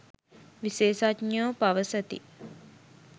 විශේෂඥයෝ පවසති.